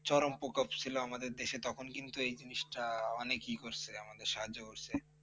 চরম প্রকোপ ছিলো আমাদের দেশে তখন কিন্তু এই জিনিসটা অনেককেই সাহায্য করছে।`